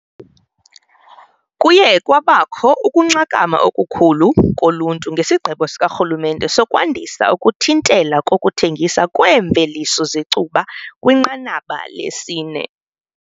Kuye kwabakho ukunxakama okukhulu koluntu ngesigqibo sikarhulumente sokwandisa ukuthintela kokuthengiswa kweemveliso zecuba kwinqanaba lesi-4.